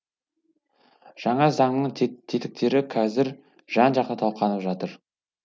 жаңа заңның тетіктері қазір жан жақты талқыланып жатыр